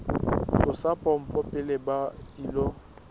tlosa pompo pele ba ilo